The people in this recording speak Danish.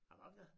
Hvad var det?